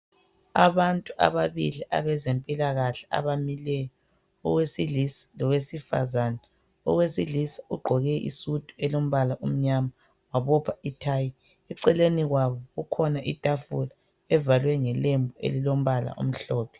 Abantu ababili abezempilakahle abamileyo owesilisa lowesifazana. Owesilisa ugqoke isudu elombala omnyama wabopha ithayi. Eceleni kwabo kukhona itafula evalwe ngelembu elilombala omhlophe.